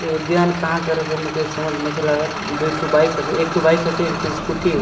ये उद्यान कहाँ के हरे मोके समझ नइखे आवत दुइ ठो बाइक हेके एकगो स्कूटी हे।